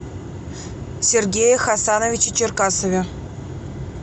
сергее хасановиче черкасове